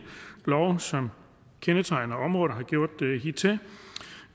love som området hidtil